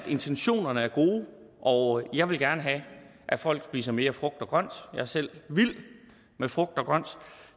intentionerne er gode og jeg vil gerne have at folk spiser mere frugt og grønt jeg er selv vild med frugt og grønt